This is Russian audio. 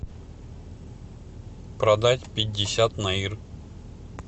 продать пятьдесят наир